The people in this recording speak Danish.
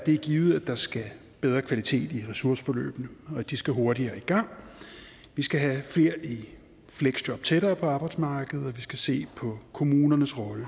er givet at der skal bedre kvalitet i ressourceforløbene og de skal hurtigere i gang vi skal have flere i fleksjob tættere på arbejdsmarkedet og vi skal se på kommunernes rolle